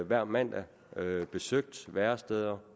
hver mandag besøgt væresteder og